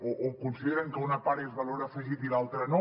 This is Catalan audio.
o consideren que una part és valor afegit i l’altra no